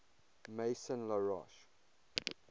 maison la roche